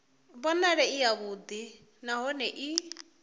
vhonale i yavhuḓi nahone i